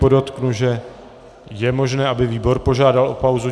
Podotknu, že je možné, aby výbor požádal o pauzu.